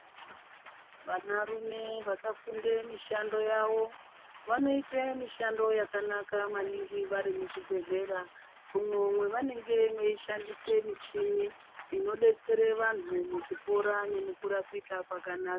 Vana rume vakafunde mishando yavo, vanoite mishando yakanaka maningi vari muzvibhedhlera, umwo mwawanenge weishandisa michini inodetsere wanhu kupora nemukurapika kwakanaka.